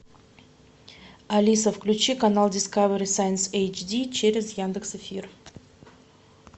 алиса включи канал дискавери сайнс эйчди через яндекс эфир